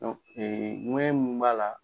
ŋuwɛɲɛ mun b'a la